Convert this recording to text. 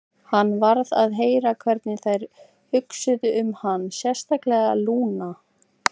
Hann varð að heyra hvernig þær hugsuðu um hann, sérstaklega Lúna.